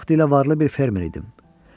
Vaxtilə varlı bir fermer idim.